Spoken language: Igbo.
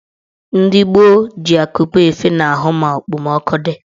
Ndị gboo ji akupe efe n'ahụ ma okpomọọkụ dị.